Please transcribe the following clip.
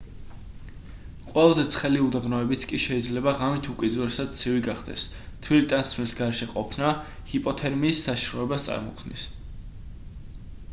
ყველაზე ცხელი უდაბნოებიც კი შეიძლება ღამით უკიდურესად ცივი გახდეს თბილი ტანსაცმლის გარეშე ყოფნა ჰიპოთერმიის საშიშროებას წარმოქმნის